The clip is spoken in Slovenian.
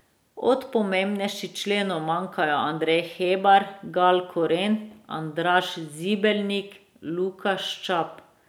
Od pomembnejših členov manjkajo Andrej Hebar, Gal Koren, Andraž Zibelnik, Luka Ščap.